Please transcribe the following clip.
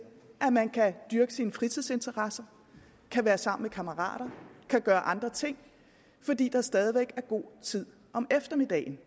at man kan dyrke sine fritidsinteresser kan være sammen med kammerater kan gøre andre ting fordi der stadig væk er god tid om eftermiddagen